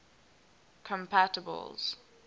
compatibles